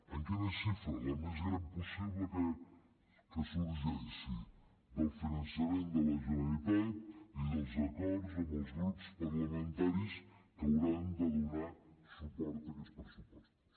en quina xifra la més gran possible que sorgeixi del finançament de la generalitat i dels acords amb els grups parlamentaris que hauran de donar suport a aquests pressupostos